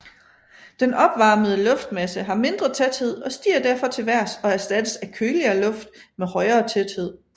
Den opvarmede luftmasse har mindre tæthed og stiger derfor til vejrs og erstattes af køligere luft med højere tæthed